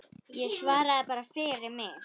Ég svara bara fyrir mig.